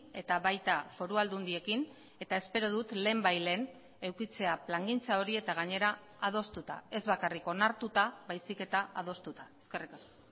eta baita foru aldundiekin eta espero dut lehenbailehen edukitzea plangintza hori eta gainera adostuta ez bakarrik onartuta baizik eta adostuta eskerrik asko